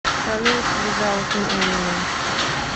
салют визаут ми эминем